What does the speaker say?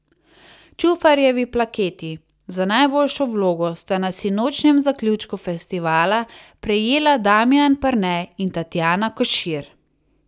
Čufarjevi plaketi za najboljšo vlogo sta na sinočnjem zaključku festivala prejela Damijan Perne in Tatjana Košir.